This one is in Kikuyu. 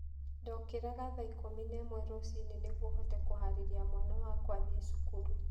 Ndookĩraga thaa ikũmi na ĩmwe rũcinĩ nĩguo hote kũhaarĩria mwana wakwa athiĩ cukuru.